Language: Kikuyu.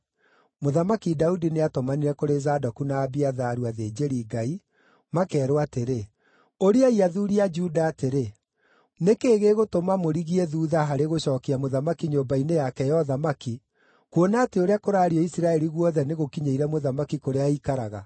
Mũthamaki Daudi nĩatũmanire kũrĩ Zadoku na Abiatharu, athĩnjĩri-Ngai, makeerwo atĩrĩ, “Ũriai athuuri a Juda atĩrĩ, ‘Nĩ kĩĩ gĩgũtũma mũrigie thuutha harĩ gũcookia mũthamaki nyũmba-inĩ yake ya ũthamaki, kuona atĩ ũrĩa kũraario Isiraeli guothe nĩgũkinyĩire mũthamaki kũrĩa aikaraga?